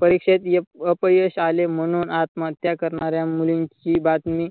परीक्षेत अप अपयश आले म्हणून आत्महत्या करणाऱ्या मुलींची बातमी